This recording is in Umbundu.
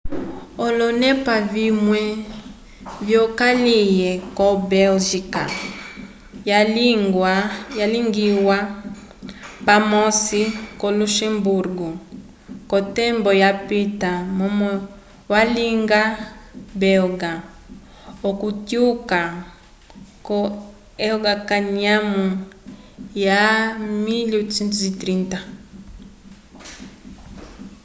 olonepa vimwe vyokaliye ko belgica yalingiwa pamosi ko luxemburgo ko tembo ya pita momo valinga belga okutyuka ko elga kanyamo ya 1830